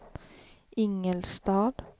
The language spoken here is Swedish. Ingelstad